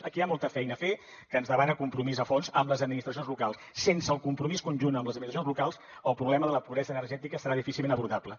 aquí hi ha molta feina a fer que ens demana compromís a fons amb les administracions locals sense el compromís conjunt amb les administracions locals el problema de la pobresa energètica serà difícilment abordable